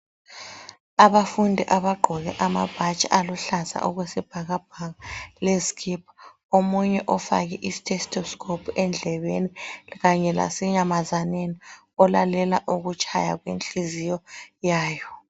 Abafundi abagqoke amabhatshi aluhlaza okwesibhakabhaka lezikipa. Omunye ofake iThestoskophu endlebeni kanye lasenyamazaneni olalele okutshaya inhliziyo yabo.